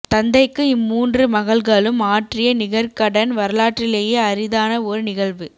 தந்தைக்கு இம்மூன்று மகள்களும் ஆற்றிய நிகர்க்கடன் வரலாற்றிலேயே அரிதான ஒரு நிகழ்வு